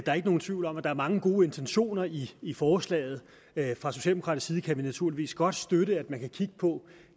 er ikke nogen tvivl om at der er mange gode intentioner i i forslaget fra socialdemokratisk side kan vi naturligvis godt støtte at man kan kigge på